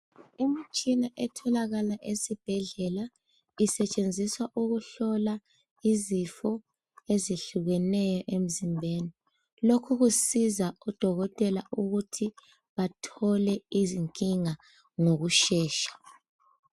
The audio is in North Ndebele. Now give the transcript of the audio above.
Imitshina etholakala esibhedlela isetshenziswa ukuhlola izifo ezehlukeneyo emzimbeni lokhu kusiza udokotela ukuthi athole izinkinga ngokushesha.